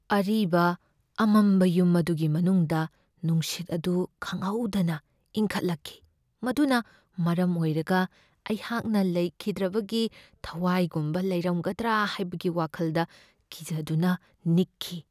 ꯑꯔꯤꯕ ꯑꯃꯝꯕ ꯌꯨꯝ ꯑꯗꯨꯒꯤ ꯃꯅꯨꯡꯗ ꯅꯨꯡꯁꯤꯠ ꯑꯗꯨ ꯈꯪꯍꯧꯗꯅ ꯏꯪꯈꯠꯂꯛꯈꯤ, ꯃꯗꯨꯅ ꯃꯔꯝ ꯑꯣꯏꯔꯒ ꯑꯩꯍꯥꯛꯅ ꯂꯩꯈꯤꯗ꯭ꯔꯕꯒꯤ ꯊꯋꯥꯏꯒꯨꯝꯕ ꯂꯩꯔꯝꯒꯗ꯭ꯔꯥ ꯍꯥꯏꯕꯒꯤ ꯋꯥꯈꯜꯗ ꯀꯤꯖꯗꯨꯅ ꯅꯤꯛꯈꯤ ꯫